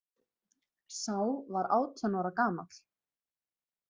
Sá var átján ára gamall